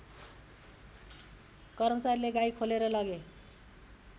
कर्मचारीले गाई खोलेर लगे